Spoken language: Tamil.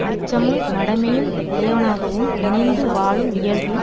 அச்சமும் மடமையும் உடையவனாகவும் இணைந்து வாழும் இயல்பும்